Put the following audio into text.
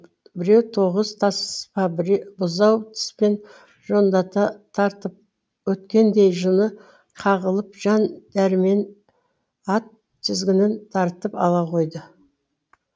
біреу тоғыз таспа бұзау тіспен жондата тартып өткендей жыны қағылып жан дәрмен ат тізгінін тартып ала қойды